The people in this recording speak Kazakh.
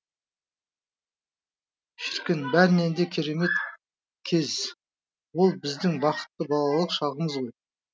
шіркін бәрінен де керемет кез ол біздің бақытты балалық шағымыз ғой